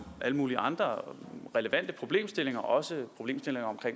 alle mulige andre relevante problemstillinger også om